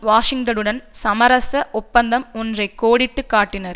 வாஷிங்டனுடன் சமரச ஒப்பந்தம் ஒன்றை கோடிட்டு காட்டினார்